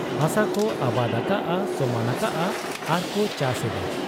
ᱦᱟᱥᱟᱠᱚ ᱟᱵᱟᱫᱽ ᱟᱠᱟᱜ ᱟ ᱾ ᱥᱚᱢᱟᱱ ᱟᱠᱟᱜ ᱟ ᱟᱨᱠᱚ ᱪᱟᱥ ᱮᱫᱟ ᱾